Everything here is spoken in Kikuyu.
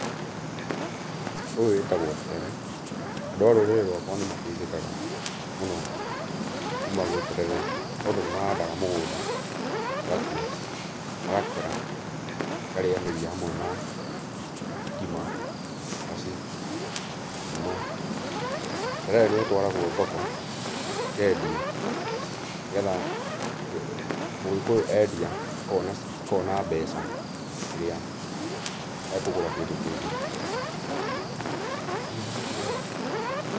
Ũyũ wĩtagwo terere. Andũ a rũrĩrĩ rwakwa nĩmateithĩkaga mũno kuma gwĩ terere, nĩtondũ nĩmahandaga mũgũnda magatua, magakera, makarĩanĩria hamwe na ngima, cabaci, mũkimo. Terere nĩũtwaragũo thoko, ũkendio nĩgetha Mũgĩkũyũ endia, akona cir akona mbeca ĩrĩa ekũgũra kĩndũ kĩngĩ.